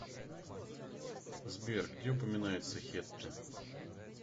сбер где упоминается хетты